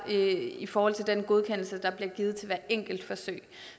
i forhold til den godkendelse der bliver givet til hvert enkelt forsøg